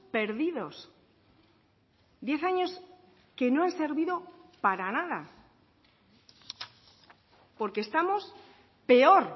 perdidos diez años que no han servido para nada porque estamos peor